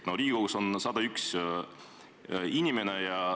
No Riigikogus on 101 inimest.